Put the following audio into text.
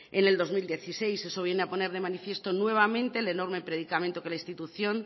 en el dos mil dieciséis eso viene a poner de manifiesto nuevamente el enorme predicamento que la institución